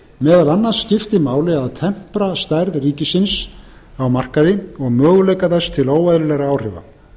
meðal annars skipti máli að tempra stærð ríkisins á markaði og möguleika þess til óeðlilegra áhrifa